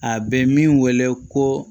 A bɛ min wele ko